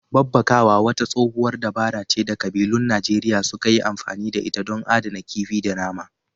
Babbakawa wata tsohuwar dabara ce da ƙabilun Najeriya suka yi amfani da ita don adana kifi da nama.